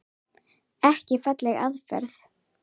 Ekki falleg aðferð.